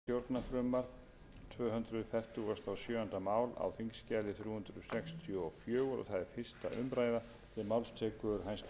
virðulegi forseti ég mæli fyrir frumvarpi til laga um breytingu á lögum númer níutíu og sjö nítján hundruð áttatíu og sjö um vörugjald lögum númer tuttugu